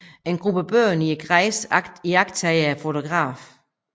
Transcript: En gruppe børn i græsset iagttager fotografen